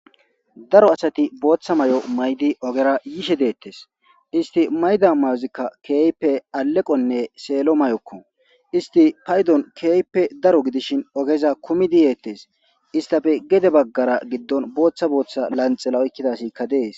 daro asati booththa may7o maydi ogera yishe deettes isti mayda mayozikka keeype aleqonne seelo may7okko isti paydon keeype daro gidishin ogeza kumidi yeettes istafe gede baggara giddon booththa booththa lanxela oykkidasikka dees